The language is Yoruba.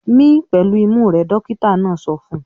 "Mí pẹ̀lú imú rẹ!" Dọ́kítá náà sọ fún un.